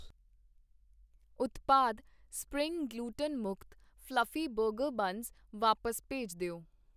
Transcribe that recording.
ਉਤਪਾਦ spring gluten ਮੁਕਤ fluffy burger buns ਵਾਪਸ ਭੇਜ ਦਿਓ